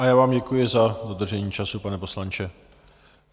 A já vám děkuji za dodržení času, pane poslanče.